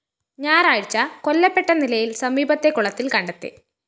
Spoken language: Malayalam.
ഞായറാഴ്ച കൊല്ലപ്പെട്ട നിലയില്‍ സമീപത്തെ കുളത്തില്‍ കണ്ടെത്തി